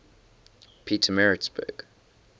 pietermaritzburg